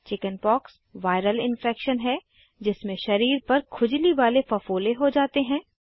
chickenpox viral infection है जिसमें शरीर पर खुजली वाले फफोले हो जाते हैं